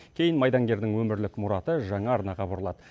кейін майдангердің өмірлік мұраты жаңа арнаға бұрылады